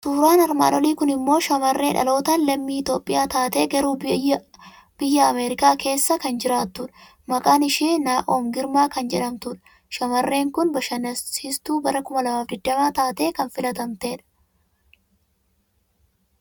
Suuraan armaan olii kun immoo shamarree dhalootaan lammii Itoophiyaa taatee garuu biyya Ameerikaa keessa kan jiraattu, maqaan ishii Naa'om Girmaa kan jedhamtudha. Shamarreen kun Bashannansiitstuu bara 2020 taatee kan filatamtedha.